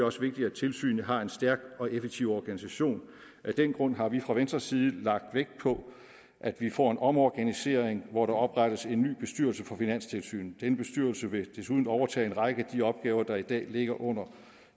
også vigtigt at tilsynet har en stærk og effektiv organisation af den grund har vi fra venstres side lagt vægt på at vi får en omorganisering hvor der oprettes en ny bestyrelse for finanstilsynet den bestyrelse vil desuden overtage en række af de opgaver der i dag ligger under